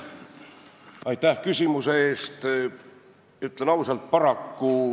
Aitäh küsimuse eest!